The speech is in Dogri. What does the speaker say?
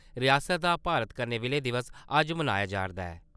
रियासत दा भारत कन्नै विलय दिवस अज्ज मनाया जा'रदा ऐ।